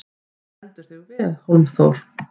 Þú stendur þig vel, Hólmþór!